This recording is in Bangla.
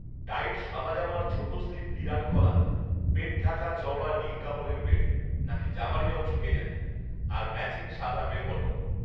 টাইট শাদা জামার ছোটো স্লীভ বিরাট কলার, পেটঢাকা চওড়া নীল কাপড়ের বেল্ট নাকি জামারই অংশ কে জানে আর ম্যাচিং শাদা বেলবটম